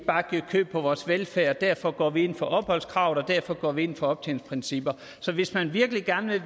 bare giver køb på vores velfærd derfor går vi ind for opholdskravet og derfor går vi ind for optjeningsprincipper så hvis man virkelig gerne